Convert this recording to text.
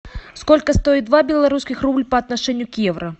сколько стоит два белорусских рубль по отношению к евро